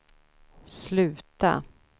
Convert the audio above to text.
sluta